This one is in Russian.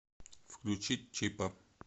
включить чипа